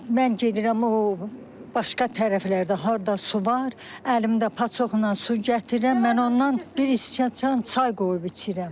Mən gedirəm o başqa tərəflərdə harda su var, əlimdə paçoxla su gətirirəm, mən ondan bir iskiyə çan çay qoyub içirəm.